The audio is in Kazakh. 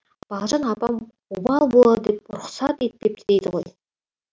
балжан апам обал болады деп рұқсат етпепті дейді ғой